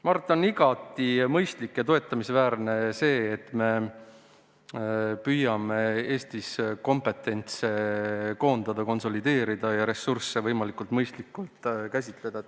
Ma arvan, et on igati mõistlik ja toetamisväärne, et me püüame Eestis kompetentsi koondada, konsolideerida ja ressursse võimalikult mõistlikult kasutada.